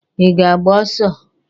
I ga-agba ọsọ?